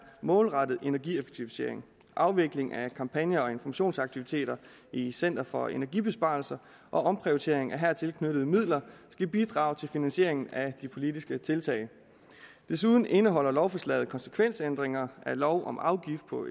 målrettet energieffektivisering afvikling af kampagne og informationsaktiviteter i center for energibesparelser og omprioriteringer af her tilknyttede midler skal bidrage til finansieringen af de politiske tiltag desuden indeholder lovforslaget konsekvensændringer af lov om afgift på